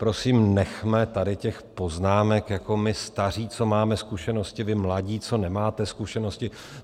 Prosím, nechme tady těch poznámek, jako my staří, co máme zkušenosti, vy mladí, co nemáte zkušenosti.